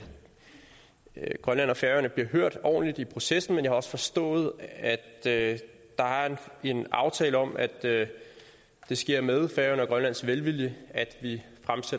grønland og færøerne bliver hørt ordentligt i processen men jeg har også forstået at der er en aftale om at det sker med færøernes velvilje at vi